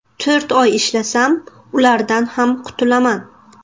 To‘rt oy ishlasam, ulardan ham qutulaman.